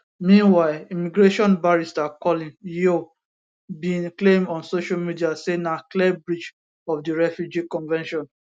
meanwhile immigration barrister colin yeo bin claim on social media say na clear breach of di refugee convention